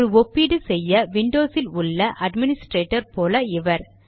ஒரு ஒப்பீடு செய்ய விண்டோஸில் உள்ள அட்மினிஸ்ட்ரேட்டர் போல இவர்